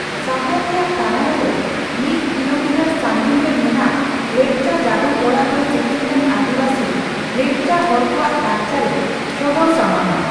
ᱥᱟᱦᱟᱨ ᱨᱮᱭᱟᱜ ᱛᱟᱱᱟᱞᱟ ᱫᱚ ᱢᱤᱫ ᱠᱤᱞᱳᱢᱤᱴᱟᱨ ᱥᱟᱹᱜᱤᱧ ᱨᱮ ᱢᱮᱱᱟᱜ ᱞᱮᱯᱪᱟ ᱡᱟᱹᱫᱩ ᱚᱲᱟᱜ ᱫᱚ ᱥᱤᱠᱤᱢ ᱨᱮᱱ ᱟᱹᱫᱤᱵᱟᱹᱥᱤ ᱞᱮᱯᱪᱟ ᱦᱚᱲᱠᱚᱣᱟᱜ ᱞᱟᱠᱪᱟᱨ ᱮ ᱥᱚᱫᱚᱨ ᱥᱟᱢᱟᱝᱼᱟ ᱾